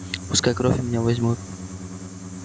пускай кровь у меня возьмут